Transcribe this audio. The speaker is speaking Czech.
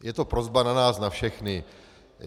Je to prosba na nás na všechny.